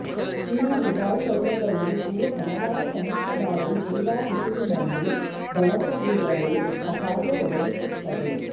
China ದುಬಾರಿಯಲ್ಲದ ಉಡುಪು ಹಲವಾರು ಕನಿಷ್ಠ ಬಾರಿ ಕ್ರೀಡಾಋತುವಿನಲ್ಲಿ ಬಳಸದಿರಲು ಅಸಾಧ್ಯ ಒದಗಿಸುತ್ತದೆ